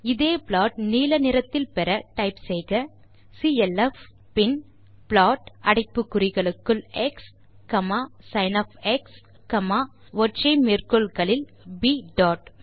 இதே ப்ளாட் நீல நிறத்தில் பெற டைப் செய்க சிஎல்எஃப் பின் ப்ளாட் அடைப்பு குறிகளுக்குள் எக்ஸ் sinஒற்றை மேற்கோள் குறிகளுக்குள் ப் டாட்